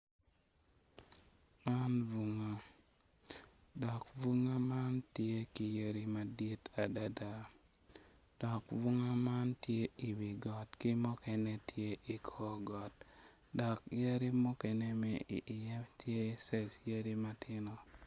Man bunga dok bunga man tye ki yadi madwoong adada do bunga man tye iwi got dok mukene tye ikor got dok yadi mukene ma iye tye yadi matino.